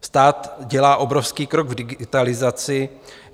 Stát dělá obrovský krok k digitalizaci.